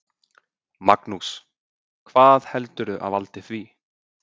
Magnús: Hvað heldurðu að valdi því?